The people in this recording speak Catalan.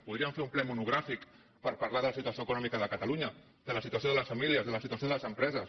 podríem fer un ple monogràfic per parlar de la situació econòmica de catalunya de la situació de les famílies de la situació de les empreses